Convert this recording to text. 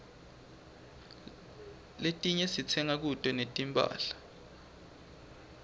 letinye sitsenga kuto tinphahla